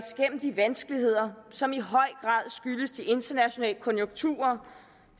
de vanskeligheder som i høj grad skyldes de internationale konjunkturer